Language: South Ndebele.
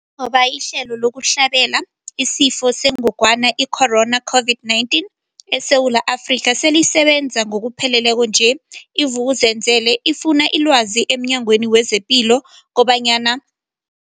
Njengoba ihlelo lokuhlabela isiFo sengogwana i-Corona, i-COVID-19, eSewula Afrika selisebenza ngokupheleleko nje, i-Vuk'uzenzele ifune ilwazi emNyangweni wezePilo kobanyana.